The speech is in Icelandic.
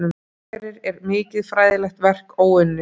Hvað þetta áhrærir er mikið fræðilegt verk óunnið.